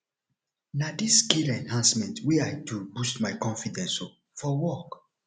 na dis skill enhancement wey i do boost my confidence um for work